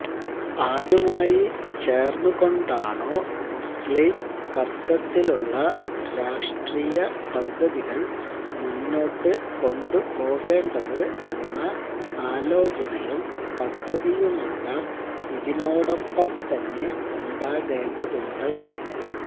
ആരുമായി ചേര്ന്നുകൊണ്ടാണോ മുസ്ലിം കര്തൃത്വത്തിലുള്ള രാഷ്ട്രീയ പദ്ധതികള് മുന്നോട്ട് കൊണ്ടുപോകേണ്ടത് എന്ന ആലോചനയും പദ്ധതിയുമെല്ലാം ഇതിനോടൊപ്പം തന്നെ ഉണ്ടാകേണ്ടതുണ്ട്